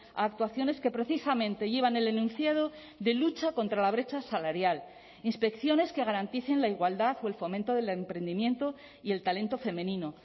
a actuaciones que precisamente llevan el enunciado de lucha contra la brecha salarial inspecciones que garanticen la igualdad o el fomento del emprendimiento y el talento femenino